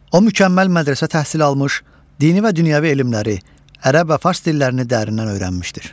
O mükəmməl mədrəsə təhsili almış, dini və dünyəvi elmləri, ərəb və fars dillərini dərindən öyrənmişdir.